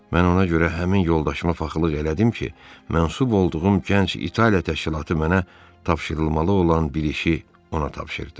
Mən ona görə həmin yoldaşıma paxıllıq elədim ki, mənsub olduğum gənc İtaliya təşkilatı mənə tapşırılmalı olan bir işi ona tapşırdı.